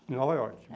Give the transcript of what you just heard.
Em Nova Iorque.